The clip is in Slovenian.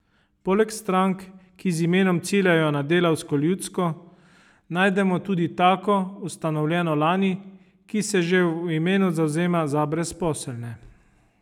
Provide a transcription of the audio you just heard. Poleg strank, ki z imenom ciljajo na delavsko ljudsko, najdemo tudi tako, ustanovljeno lani, ki se že v imenu zavzema za brezposelne.